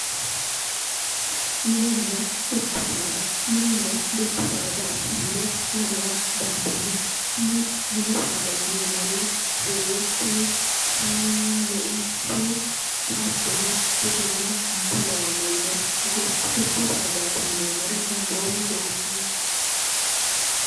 mininna dubbu saada mininna dubbu saadaati yine lamewa bandanni mini saada yineemmori gerechu iiii meichu hattono wolurino insa lawannori no dubbu saadayi yineemmori amboomi doobbiichu